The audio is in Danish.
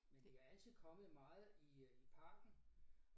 Men vi har altid kommet meget i parken